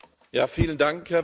Herr Präsident!